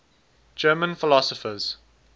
german philosophers